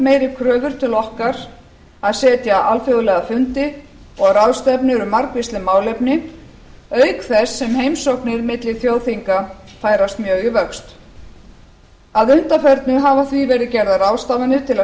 meiri kröfur til okkar að sitja alþjóðlega fundi og ráðstefnur um margvísleg málefni auk þess sem heimsóknir milli þjóðþinga færast mjög í vöxt að undanförnu hafa því verið gerðar ráðstafanir til að